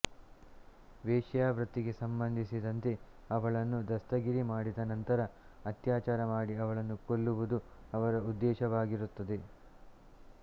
ವೈಶ್ಯಾವೃತ್ತಿಗೆ ಸಂಬಂಧಿಸಿದಂತೆ ಅವಳನ್ನು ದಸ್ತಗಿರಿ ಮಾಡಿದ ನಂತರ ಅತ್ಯಾಚಾರ ಮಾಡಿ ಅವಳನ್ನು ಕೊಲ್ಲುವುದು ಅವರ ಉದ್ದೇಶವಾಗಿರುತ್ತದೆ